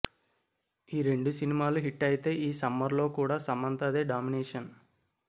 ఈ రెండు సినిమాలు హిట్ అయితే ఈ సమ్మర్ లో కూడా సమంతదే డామినేషన్